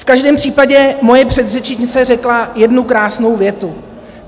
V každém případě moje předřečnice řekla jednu krásnou větu.